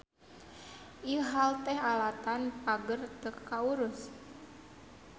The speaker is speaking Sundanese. Ieu hal teh alatan pger teu kaurus.